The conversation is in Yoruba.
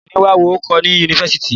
Mi ò ní máa wọ àǹkóò ni Yunifásítì.